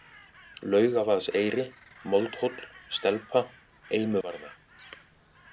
Laugavaðseyri, Moldhóll, Stelpa, Eimuvarða